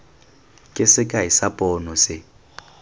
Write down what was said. ke sekai sa pono se